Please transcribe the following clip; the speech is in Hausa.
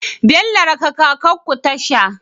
Bello raka kakar ku tasha